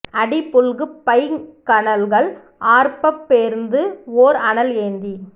அடி புல்கு பைங் கழல்கள் ஆர்ப்பப் பேர்ந்து ஓர் அனல் ஏந்தி